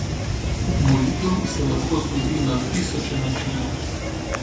Molitev se lahko zgodi na tisoče načinov.